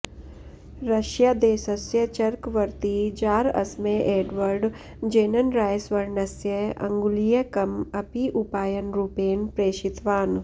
रष्यादेशस्य चर्कवर्ती जार् अस्मै एड्वर्ड् जेन्नराय स्वर्णस्य अङ्गुलीयकम् अपि उपायनरूपेण प्रेषितवान्